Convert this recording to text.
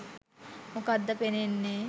මොකක්ද පෙනෙන්නේ.